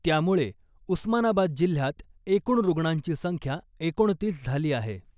त्यामुळे उस्मानाबाद जिल्ह्यात एकूण रुग्णांची संख्या एकोणतीस झाली आहे .